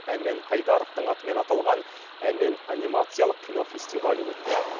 әмен қайдаровтың атымен аталған әмен анимациялық кинофестивалі өтті